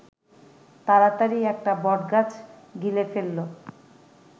তাড়াতাড়ি একটা বটগাছ গিলে ফেলল